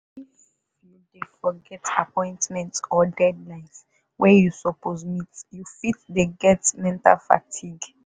if you dey forget appointment or deadlines wey you suppose meet you fit dey get mental fatigue.